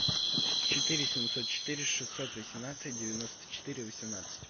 четыре семьсот четыре шестьсот восемнадцать девяносто четыре восемнадцать